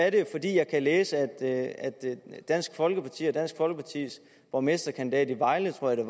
er jo at jeg kan læse at dansk folkeparti og dansk folkepartis borgmesterkandidat i vejle tror jeg